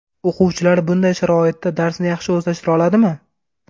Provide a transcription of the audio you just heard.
O‘quvchilar bunday sharoitda darsni yaxshi o‘zlashtira oladimi?